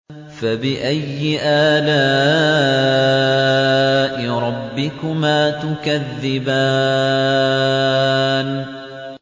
فَبِأَيِّ آلَاءِ رَبِّكُمَا تُكَذِّبَانِ